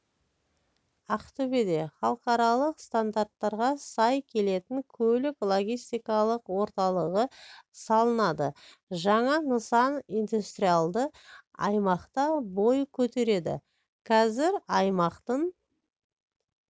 ақтөбеде халықаралық стандарттарға сай келетін көлік-логистикалық орталығы салынады жаңа нысан индустриалды аймақта бой көтереді қазір аймақтың